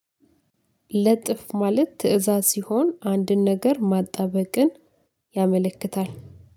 ለጥፍ ማለት ትእዛዝ ሲሆን አንድን ነገር ማጣበቅን ያመለክታል።